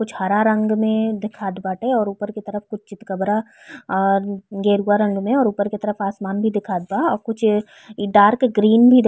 कुछ हरा रंग मे दिखत बाटे और ऊपर की तरफ चितकब्रा और गेरुवा रंग में और ऊपर की तरफ आसमान भी दिखात बा और कुछ इ डार्क ग्रीन भी --